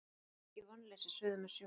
Aukið vonleysi suður með sjó